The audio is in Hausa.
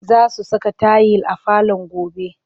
Za su saka tayil a falon gobe